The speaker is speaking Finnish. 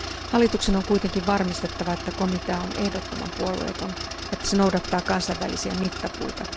Hallituksen on kuitenkin varmistettava, että komitea on ehdottoman puolueeton ja että se noudattaa kansainvälisiä mittapuita.